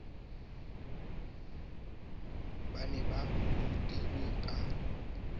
ba ne ba rutelwa ka